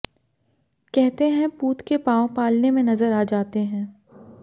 कहते हैं पूत के पांव पालने में नजर आ जाते हैं